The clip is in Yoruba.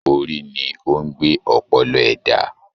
Orí ni o n gbé ọpọlọ ẹda.